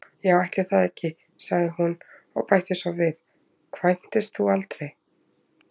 Já, ætli það ekki, sagði hún og bætti svo við: Kvæntist þú aldrei?